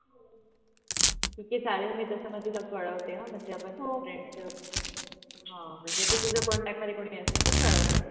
ठीक आहे चालेल मी तसा म तुला कळवते ह म्हणजे आपण friends ह म्हणजे तु तुझ्या contact मध्ये कोणी असेल तर कलव